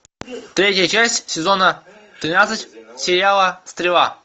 третья часть сезона тринадцать сериала стрела